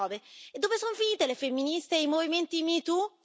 2019. Dove sono finite le femministe e i movimenti metoo?